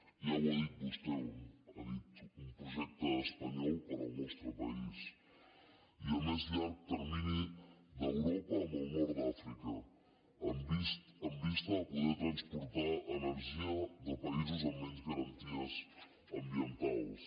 ja ho ha dit vostè ha dit un projecte espanyol per al nostre país i a més llarg termini d’europa amb el nord d’àfrica amb vista a poder transportar energia de països amb menys garanties ambientals